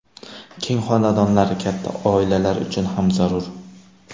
Keng xonadonlar katta oilalar uchun ham zarur.